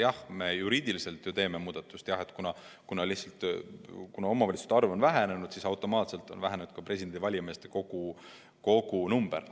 Jah, juriidiliselt me teeme muudatuse, kuna omavalitsuste arv on vähenenud ja automaatselt on vähenenud ka valimiskogu liikmete arv.